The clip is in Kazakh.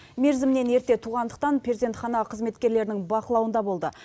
мерзімінен ерте туғандықтан перзентхана қызметкерлерінің бақылауында болды